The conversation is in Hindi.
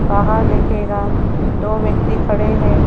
वहां देखिएगा दो व्यक्ति खड़े हैं।